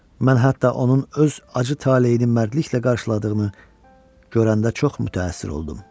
Mən hətta onun öz acı taleyini mərdliklə qarşıladığını görəndə çox mütəəssir oldum.